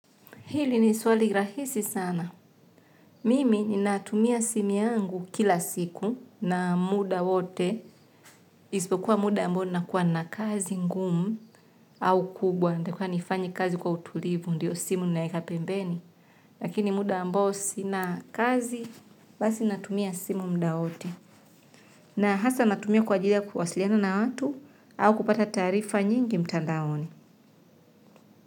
Hili ni swali rahisi sana. Mimi ni natumia simu yangu kila siku na muda wote. Isipo kuwa muda ambao nakuwa na kazi ngumu au kubwa. Ndekuwa nifanyi kazi kwa utulivu ndiyo simu ninaeka pembeni. Lakini muda ambao sina kazi basi natumia simu mda wote. Na hasa natumia kwa jili ya kwasiliana na watu au kupata tarifa nyingi mtandaoni.